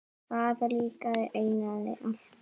Það líkaði Einari alltaf.